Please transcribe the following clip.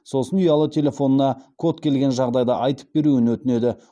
сосын ұялы телефонына код келген жағдайда айтып беруін өтінеді